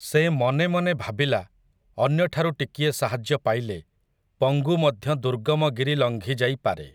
ସେ ମନେ ମନେ ଭାବିଲା ଅନ୍ୟଠାରୁ ଟିକିଏ ସାହାଯ୍ୟ ପାଇଲେ ପଙ୍ଗୁ ମଧ୍ୟ ଦୁର୍ଗମ ଗିରି ଲଙ୍ଘିଯାଇପାରେ ।